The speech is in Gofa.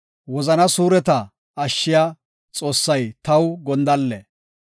Wozana suureta ashshiya, Xoossay taw gondalle.